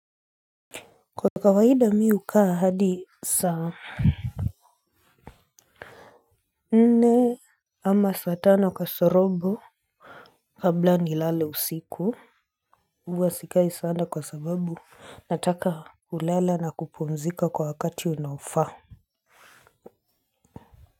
Kwa kawaida mi hukaa hadi saa nne ama saa tano kasorobo kabla nilale usiku huwa sikai sana kwa sababu nataka kulala na kupumzika kwa wakati unaofaa.